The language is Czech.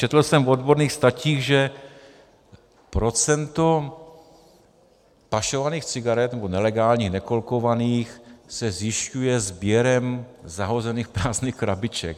Četl jsem v odborných statích, že procento pašovaných cigaret, nebo nelegálních, nekolkovaných, se zjišťuje sběrem zahozených prázdných krabiček.